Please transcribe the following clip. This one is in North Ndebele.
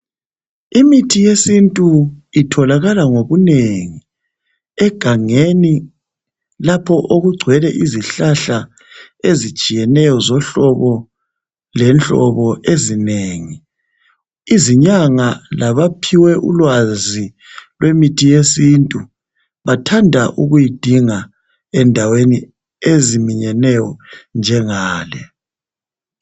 Imithi yesintu itholakala ngobunengi egangeni lapho okugcwele okulezihlahla ezitshiyeneyo zohlobo lenhlobo ezinengi. Izinyanga labaphiwe ulwazi lemithi yesintu bathanda ukuyidinga endaweni ezifana lalezi.